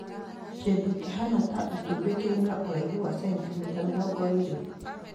kĩndũ kĩhaana ta itumbĩ kĩrĩ na ũraihu wa sentimita mĩrongo ĩrĩ